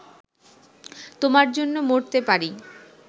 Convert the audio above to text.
তোমার জন্য মরতে পারি